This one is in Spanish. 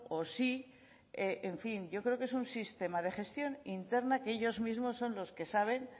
o sí en fin yo creo que es un sistema de gestión interna que ellos mismos son los que saben